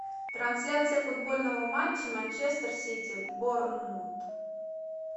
трансляция футбольного матча манчестер сити борнмут